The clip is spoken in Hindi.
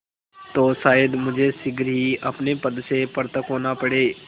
तो शायद मुझे शीघ्र ही अपने पद से पृथक होना पड़े